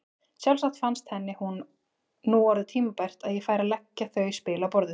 Sjálfsagt fannst henni nú orðið tímabært að ég færi að leggja þau spil á borðið!